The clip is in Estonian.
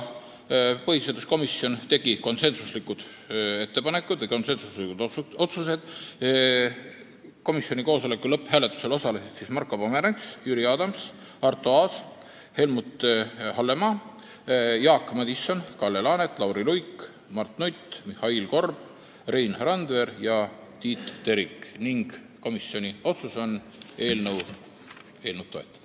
Põhiseaduskomisjoni koosoleku lõpphääletusel osalesid Marko Pomerants, Jüri Adams, Arto Aas, Helmut Hallemaa, Jaak Madison, Kalle Laanet, Lauri Luik, Mart Nutt, Mihhail Korb, Rein Randver ja Tiit Terik ning komisjoni konsensuslik otsus on eelnõu toetada.